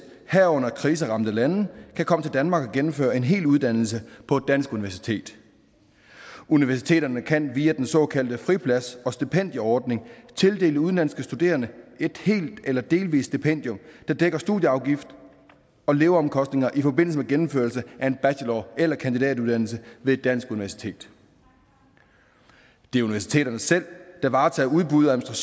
herunder kriseramte lande kan komme til danmark og gennemføre en hel uddannelse på et dansk universitet universiteterne kan via den såkaldte friplads og stipendieordning tildele udenlandske studerende et helt eller delvist stipendium der dækker studieafgift og leveomkostninger i forbindelse med gennemførelse af en bachelor eller kandidatuddannelse ved et dansk universitet det er universiteterne selv der varetager udbud og